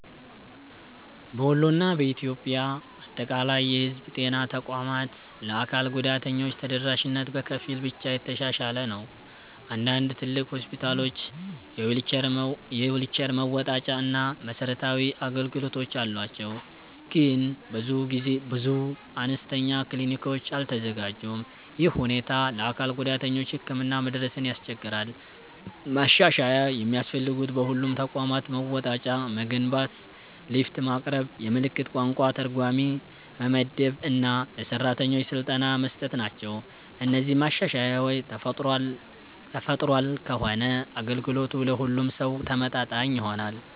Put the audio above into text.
በወሎ እና በኢትዮጵያ አጠቃላይ የህዝብ ጤና ተቋማት ለአካል ጉዳተኞች ተደራሽነት በከፊል ብቻ የተሻሻለ ነው። አንዳንድ ትልቅ ሆስፒታሎች የዊልቸር መወጣጫ እና መሰረታዊ አገልግሎት አላቸው፣ ግን ብዙ አነስተኛ ክሊኒኮች አልተዘጋጁም። ይህ ሁኔታ ለአካል ጉዳተኞች ህክምና መድረስን ያስቸግራል። ማሻሻያ የሚያስፈልጉት በሁሉም ተቋማት መወጣጫ መገንባት፣ ሊፍት ማቅረብ፣ የምልክት ቋንቋ ተርጓሚ መመደብ እና ለሰራተኞች ስልጠና መስጠት ናቸው። እነዚህ ማሻሻያዎች ተፈጥሯል ከሆነ አገልግሎቱ ለሁሉም ሰው ተመጣጣኝ ይሆናል።